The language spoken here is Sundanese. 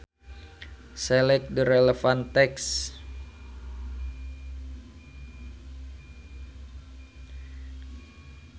Select the relevant text.